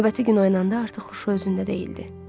Növbəti gün oyanda artıq huşu özündə deyildi.